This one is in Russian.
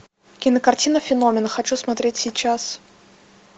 кинокартина феномен хочу смотреть сейчас